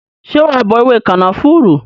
Ṣé wa bọ ewé kànáfùrú?